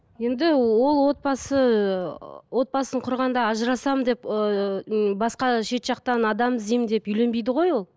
енді ол отбасы ы отбасын құрғанда ажырасамын деп ыыы басқа шет жақтан адам іздеймін деп үйленбейді ғой ол